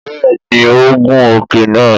Bẹ́ẹ̀ni ó gun òkè náà